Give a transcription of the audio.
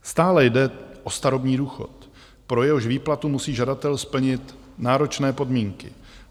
Stále jde o starobní důchod, pro jehož výplatu musí žadatel splnit náročné podmínky.